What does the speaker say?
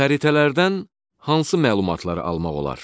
Xəritələrdən hansı məlumatları almaq olar?